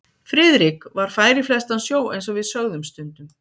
Friðrik var fær í flestan sjó eins og við sögðum stundum.